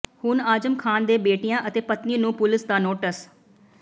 ਹੁਣ ਆਜ਼ਮ ਖਾਨ ਦੇ ਬੇਟਿਆਂ ਅਤੇ ਪਤਨੀ ਨੂੰ ਪੁਲਸ ਦਾ ਨੋਟਿਸ